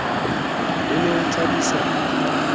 ho ne ho ithabiswa ka